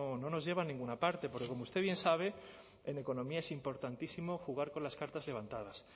no nos lleva a ninguna parte porque como usted bien sabe en economía es importantísimo jugar con las cartas levantadas